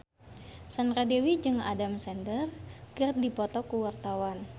Sandra Dewi jeung Adam Sandler keur dipoto ku wartawan